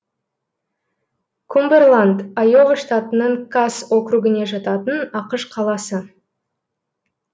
кумбэрланд айова штатының касс округіне жататын ақш қаласы